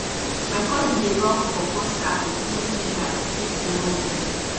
my cousin dey rub pawpaw sap with clean fingers treat small would